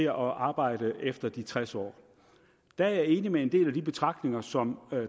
at arbejde efter det fyldte tres år der er jeg enig med en del af de betragtninger som